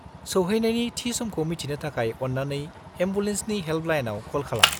सौहैनायनि थि समखौ मिथिनो थाखाय अन्नानै एम्बुलेन्सनि हेल्पलाइनाव कल खालाम।